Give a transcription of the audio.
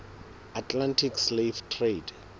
atlantic slave trade